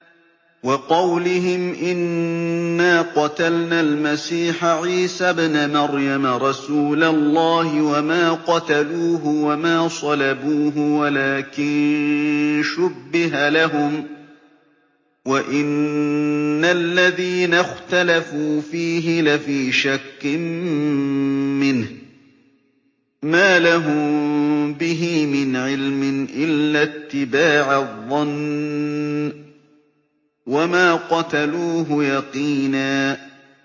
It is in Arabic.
وَقَوْلِهِمْ إِنَّا قَتَلْنَا الْمَسِيحَ عِيسَى ابْنَ مَرْيَمَ رَسُولَ اللَّهِ وَمَا قَتَلُوهُ وَمَا صَلَبُوهُ وَلَٰكِن شُبِّهَ لَهُمْ ۚ وَإِنَّ الَّذِينَ اخْتَلَفُوا فِيهِ لَفِي شَكٍّ مِّنْهُ ۚ مَا لَهُم بِهِ مِنْ عِلْمٍ إِلَّا اتِّبَاعَ الظَّنِّ ۚ وَمَا قَتَلُوهُ يَقِينًا